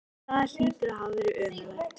Það hlýtur að hafa verið ömurlegt.